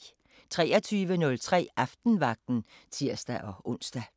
23:03: Aftenvagten (tir-ons)